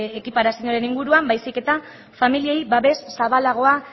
ekiparazioaren inguruan baizik eta familiei babes zabalagoa